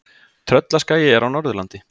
Tröllaskagi er á Norðurlandi.